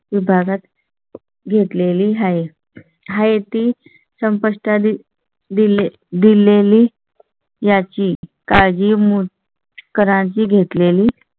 भागात घेतले ली आहे. आहे ती संपुष्टात आली. दिल्ली दिलेली याची काळजी मुळे करांची घेतले ली.